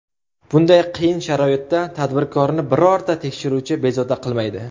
Bunday qiyin sharoitda tadbirkorni birorta tekshiruvchi bezovta qilmaydi.